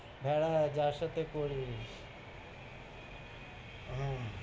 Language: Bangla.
হ্যাঁ যার সাথে করিস। হ্যাঁ।